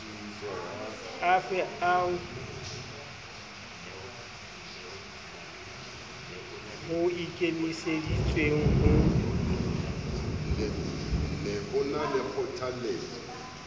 afe ao ho ikemiseditsweng ho